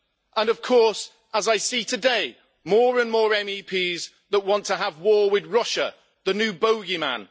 And of course, as I see today, more and more MEPs want to have war with Russia the new bogeyman.